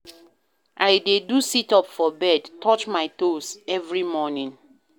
I dey do sit-up for bed, touch my toes every morning.